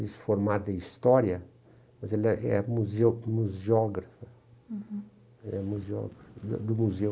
disse formado em História, mas ela é museo museógrafa uhum, é museógrafado museu.